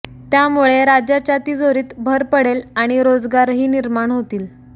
त्यामुळे राज्याच्या तिजोरीत भर पडेल आणि रोजगारही निर्माण होतील